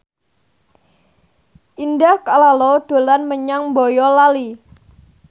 Indah Kalalo dolan menyang Boyolali